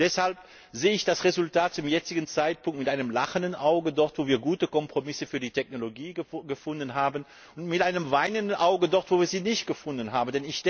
Deshalb sehe ich das Resultat zum jetzigen Zeitpunkt mit einem lachenden Auge, dort wo wir gute Kompromisse für die Technologie gefunden haben, und mit einem weinenden Auge dort, wo wir sie nicht gefunden haben.